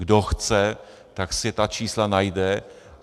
Kdo chce, tak si ta čísla najde.